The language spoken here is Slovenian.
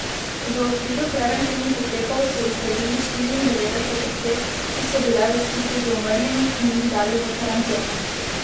V okviru preventivnih ukrepov so izsledili štiriindevetdeset oseb, ki so bile v stiku z umrlimi in jih dali v karanteno.